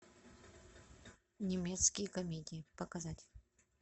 немецкие комедии показать